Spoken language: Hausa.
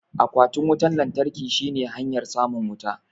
Akwatin wutan lantarkin shine hanyar samun wuta